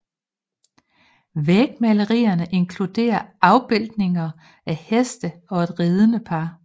Vægmalerierne inkluderer afbilledninger af heste og et ridende par